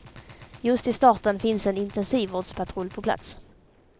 Just i starten finns en intensivvårdspatrull på plats.